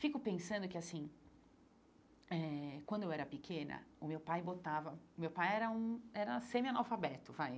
Fico pensando que assim eh, quando eu era pequena, o meu pai botava meu pai era um era semi-analfabeto vai.